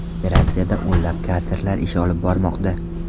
Operatsiyada o‘nlab katerlar ish olib bormoqda.